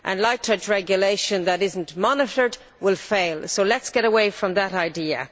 Light touch regulation that is not monitored will fail, so let us get away from that idea.